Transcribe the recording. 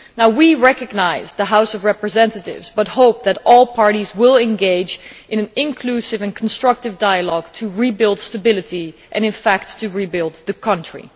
We recognise the House of Representatives, but hope that all parties will engage in an inclusive and constructive dialogue to rebuild stability and in fact to rebuild the country.